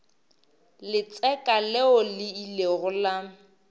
letseka leo le ilego la